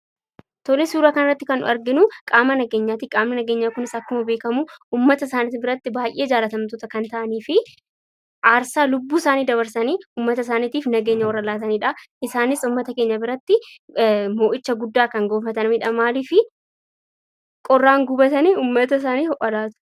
Kunis suuraa kanarratti kan arginu qqam nageenyaati. Qaamni nageenyaa kunis akkuma beekamu uummata isaanii biratti baay'ee jaallatamoo kan ta'anii fi aarsaa lubbuusaanii dabarsanii uummatasaaniitiif nageenya warra laatanidha. Isaanis uummata keenya biratti mo'icha guddaa kan gonfatanidha. Maaliif qorraan gubatanii uummata isaaniif ho'a laatu.